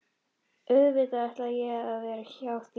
Auðvitað ætla ég að vera hjá þér!